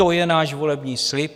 To je náš volební slib.